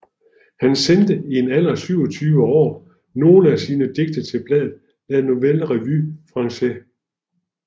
Han sendte i en alder af 27 år nogle af sine digte til bladet La Nouvelle Revue Française